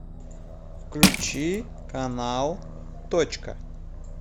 включи канал точка